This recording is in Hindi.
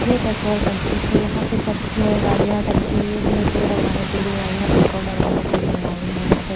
ये पेट्रोल टंकी है यहां पे सब गाड़ियां टंकी में तिल डरवाने के लिए आई है पेट्रोल डरवाने के लिए आई है यहां पे --